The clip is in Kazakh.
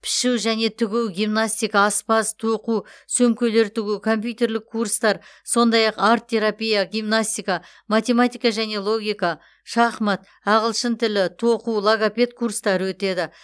пішу және тігу гимнастика аспаз тоқу сөмкелер тігу компьютерлік курстар сондай ақ арт терапия гимнастика математика және логика шахмат ағылшын тілі тоқу логопед курстары өтеді